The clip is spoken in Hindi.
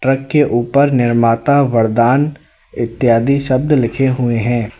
ट्रक के ऊपर निर्माता वरदान इत्यादि शब्द लिखे हुए हैं।